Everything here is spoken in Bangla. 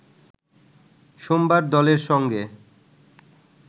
সোমবার দলের সঙ্গে